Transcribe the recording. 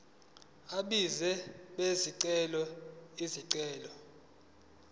abenzi bezicelo izicelo